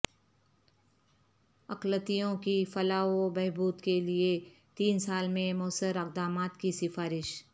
اقلیتوں کی فلاح و بہبود کے لئے تین سال میں موثر اقدامات کی سفارش